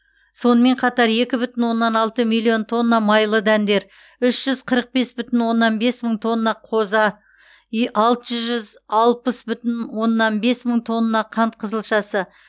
сонымен қатар екі бүтін оннан алты миллион тонна майлы дәндер үш жүз қырық бес бүтін оннан бес мың тонна қоза и алты жүз алпыс бүтін оннан бес мың тонна қант қызылшасы